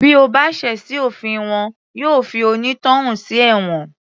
Bí o bá ṣẹ̀ sí òfin wọn yóò fi onítọ̀hún sí ẹ̀wọ̀n